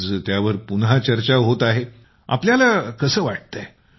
आज त्यावर पुन्हा चर्चा होत आहे तर आपल्याला कसं वाटत आहे